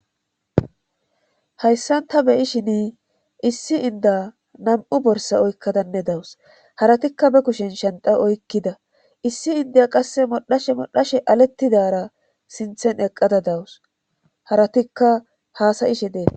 hayssan ta beyishin issi inda nam7u borsa oykkadanne dawus haratikka be kushen shenta oykkida issi indiya qasse modhashe modhashe alettidara sinthen eqqada dawus haratikka haasayishe deena